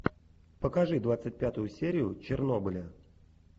покажи двадцать пятую серию чернобыля